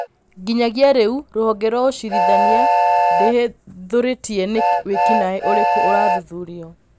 Nginyagia rĩu, rũhonge rwaũcirithania, ndĩhithũrĩtie nĩ wĩkinaĩ ũrĩkũ ũrathuthurio.